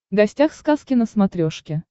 гостях сказки на смотрешке